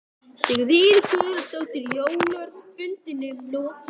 Sigríður Guðlaugsdóttir: Jón Örn, er fundinum lokið?